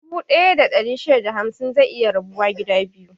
Dubu ɗaya da ɗari shida da hamsin zai iya rabuwa gida biyu.